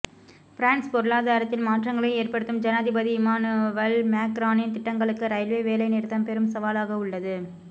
France பொருளாதாரத்தில் மாற்றங்களை ஏற்படுத்தும் ஜனாதிபதி இமானுவல் மேக்ரானின் திட்டங்களுக்கு ரயில்வே வேலை நிறுத்தம் பெரும் சவாலாக உள்ளது